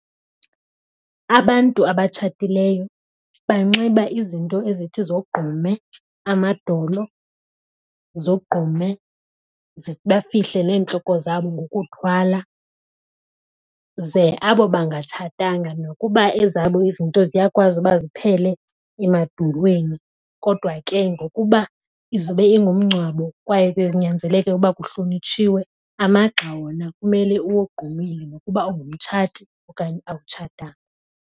Abantu abatshatileyo banxiba izinto ezithi zogqume amadolo, zogqume bafihle neentloko zabo ngokuthwala. Ze abo bangatshatanga nokuba ezabo izinto ziyakwazi uba ziphele emadolweni. Kodwa ke ngokuba izobe ingumngcwabo kwaye kuyanyanzeleke ukuba kuhlonitshiwe amagxa wona kumele uwogqumile nokuba ungumtshati okanye awutshatanga.